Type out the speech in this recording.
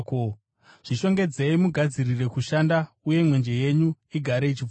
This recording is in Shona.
“Zvishongedzei mugadzirire kushanda uye mwenje yenyu igare ichipfuta,